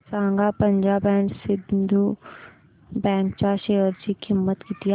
सांगा Punjab and Sindh bank च्या share ची किंमत किती आहे